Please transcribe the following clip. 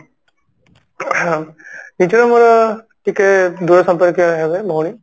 ing ନିଜର ମୋର ଟିକେ ଦୂର ସମ୍ପର୍କୀୟ ହେବେ ଭଉଣୀ